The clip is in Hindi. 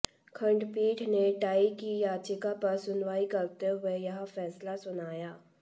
खंडपीठ ने ट्राई की याचिका पर सुनवाई करते हुए यह फैसला सुनाया